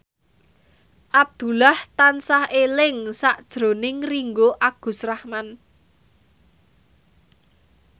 Abdullah tansah eling sakjroning Ringgo Agus Rahman